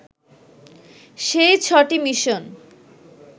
সেই ছ'টি মিশন